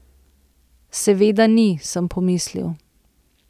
Seveda ni, sem pomislil.